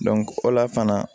o la fana